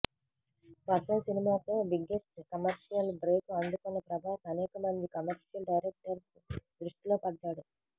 వర్షం సినిమాతో biggest commercial break అందుకున్న ప్రభాస్ అనేకమంది కమర్షియల్ డైరెక్టర్స్ దృష్టిలో పడ్డాడు